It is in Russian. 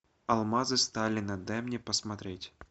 алмазы сталина дай мне посмотреть